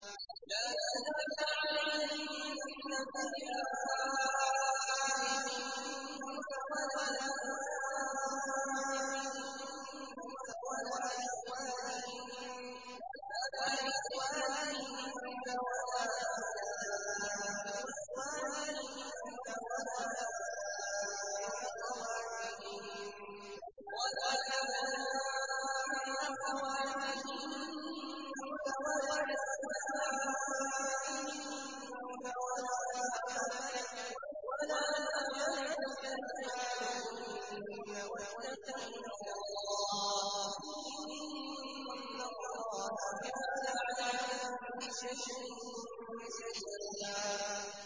لَّا جُنَاحَ عَلَيْهِنَّ فِي آبَائِهِنَّ وَلَا أَبْنَائِهِنَّ وَلَا إِخْوَانِهِنَّ وَلَا أَبْنَاءِ إِخْوَانِهِنَّ وَلَا أَبْنَاءِ أَخَوَاتِهِنَّ وَلَا نِسَائِهِنَّ وَلَا مَا مَلَكَتْ أَيْمَانُهُنَّ ۗ وَاتَّقِينَ اللَّهَ ۚ إِنَّ اللَّهَ كَانَ عَلَىٰ كُلِّ شَيْءٍ شَهِيدًا